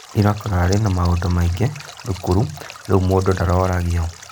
Ira kĩrarĩ na maũndũ maingĩ thukuru rĩu mũndũ ndaroragio